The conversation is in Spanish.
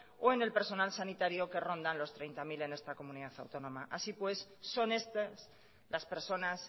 o en el personal sanitario que rondan los treinta mil en esta comunidad autónoma así pues son estas las personas